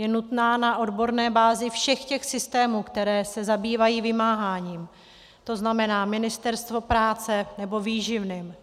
Je nutná na odborné bázi všech těch systémů, které se zabývají vymáháním, to znamená Ministerstvo práce - nebo výživným.